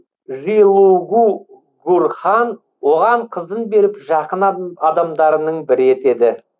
жилугу гурхан оған қызын беріп жақын адамдарының бірі етеді